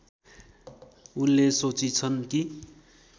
उनले सोचिछन् कि